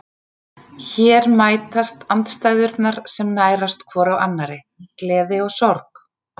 Hér mætast andstæðurnar sem nærast hvor á annarri, gleði og sorg.